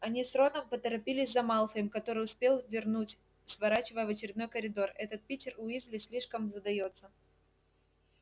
они с роном поторопились за малфоем который успел ввернуть сворачивая в очередной коридор этот питер уизли слишком задаётся